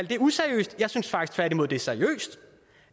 det useriøst jeg synes tværtimod at det er seriøst